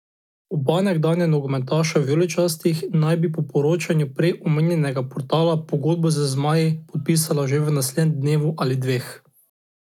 Oba nekdanja nogometaša vijoličastih naj bi po poročanju prej omenjenega portala pogodbo z zmaji podpisala že v naslednjem dnevu ali dveh.